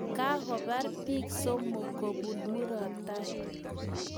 Kakobar biik somok kobun murotai